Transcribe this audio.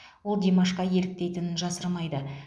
ол димашқа еліктейтінін жасырмайды